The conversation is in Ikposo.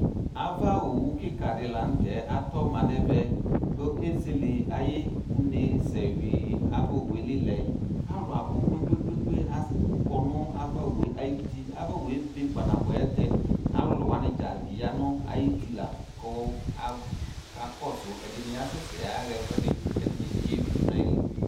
Ava owʋ kikadi lanʋ tɛ atɔma nʋ ɛmɛ kʋ ezele ayʋ unesɛ wui ava owʋeli lɛ alʋ abʋ kpe kpe kpe kpe akɔnʋ ava owʋe ayi uti ava owʋebe kpa nabʋɛ ayʋ ɛlʋtɛ alʋlʋ wani dza yanʋ ayʋ uti la kɔ aka kɔsʋ ɛdini asɛsɛ yaɣa ɛfʋedi kʋ ɛdini bi yewui ayili